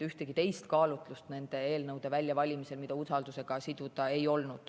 Ühtegi teist kaalutlust nende eelnõude väljavalimisel, mida usaldusega siduda, ei olnud.